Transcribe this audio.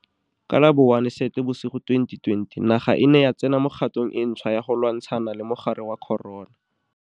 Ka la bo 01 Seetebosigo 2020 naga e ne ya tsena mo kgatong e ntšhwa ya go lwantsha na le mogare wa corona.